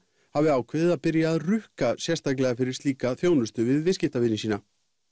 hafi ákveðið að byrja að rukka sérstaklega fyrir slíka þjónustu við viðskiptavini sína